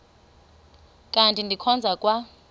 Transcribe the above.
kanti ndikhonza kwa